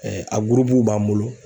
a gurupuw b'an bolo.